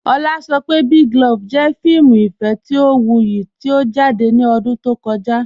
Ọ̀lá sọ̀ pé Big Love jẹ̀ fíìmù ìfẹ̀ tí ó wúyì tí ó jáde ní ọ̀dún tó kọ̀jà.